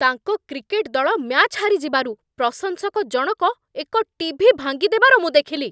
ତାଙ୍କ କ୍ରିକେଟ୍ ଦଳ ମ୍ୟାଚ୍ ହାରିଯିବାରୁ ପ୍ରଶଂସକ ଜଣକ ଏକ ଟିଭି ଭାଙ୍ଗିଦେବାର ମୁଁ ଦେଖିଲି।